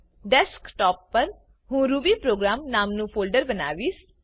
desktop પર હું rubyprogram નામનું ફોલ્ડર બાવીશ